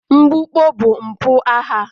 Mgbukpọ bụ mpụ agha